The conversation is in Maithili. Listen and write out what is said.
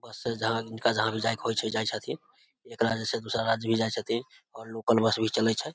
बस से जहां जिनका जहां भी जाय के होय छै जाय छथीन एक राज्य से दूसरा राज्य भी जाय छथीन और लोकल बस भी चले छै।